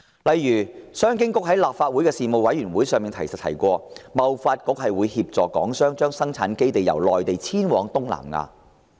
例如，商務及經濟發展局曾在立法會事務委員會上提及，貿發局會協助港商將生產基地由內地遷往東南亞。